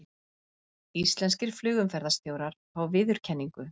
Íslenskir flugumferðarstjórar fá viðurkenningu